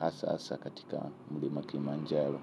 haswa hasa katika mlima kilimanjaro.